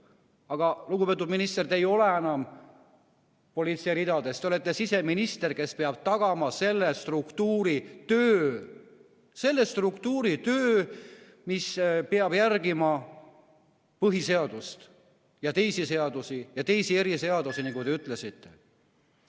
Aga, lugupeetud minister, te ei ole enam politsei ridades, te olete siseminister, kes peab tagama selle struktuuri töö nii, et on järgitud põhiseadust ja teisi seadusi, ka eriseadusi, nagu te ütlesite.